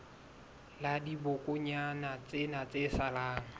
la dibokonyana tsena tse salang